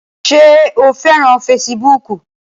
Ṣé o fẹ́ràn fesibúùkù?